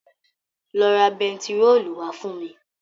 Lọ ra bẹntiróòlù wá fún mi.